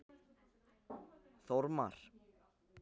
Þormar